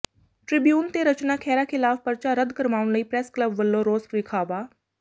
Tribune ਤੇ ਰਚਨਾ ਖਹਿਰਾ ਖ਼ਿਲਾਫ਼ ਪਰਚਾ ਰੱਦ ਕਰਵਾਉਣ ਲਈ ਪ੍ਰੈਸ ਕਲੱਬ ਵੱਲੋਂ ਰੋਸ ਵਿਖਾਵਾ